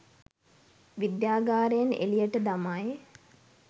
විද්‍යාගාරයෙන් එලියට දමයි.